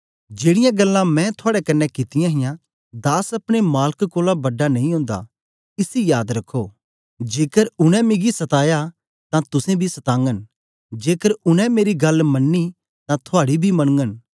जेड़ीयां गल्लां मैं थुआड़े कन्ने कित्तियां हां दास अपने मालक कोलां बड़ा नेई ओंदा इसी याद रखो जेकर उनै मिगी सताया तां तुसेंबी सतागन जेकर उनै मेरी गल्ल मनी तां थुआड़ी बी मनगन